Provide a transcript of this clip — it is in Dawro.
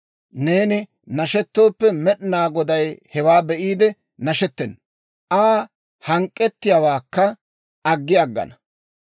Neeni nashetooppe, Med'inaa Goday hewaa be'iide nashettena; Aa hank'k'ettiyaawaakka aggi aggana.